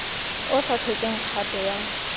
o sa tlhokeng kgato ya